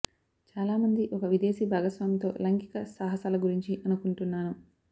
చాలా మంది ఒక విదేశీ భాగస్వామితో లైంగిక సాహసాల గురించి అనుకుంటున్నాను